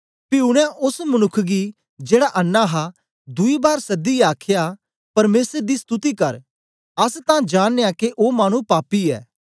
पी उनै ओस मनुक्ख गी जेड़ा अन्नां हां दुई बार सदियै आखया परमेसर दी स्तुति कर अस तां जांनयां के ओ मानु पापी ऐ